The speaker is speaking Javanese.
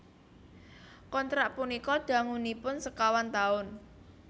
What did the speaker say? Kontrak punika dangunipun sekawan taun